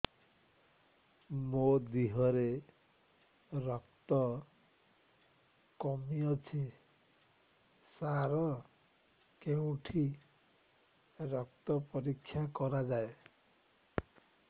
ମୋ ଦିହରେ ରକ୍ତ କମି ଅଛି ସାର କେଉଁଠି ରକ୍ତ ପରୀକ୍ଷା କରାଯାଏ